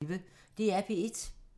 DR P1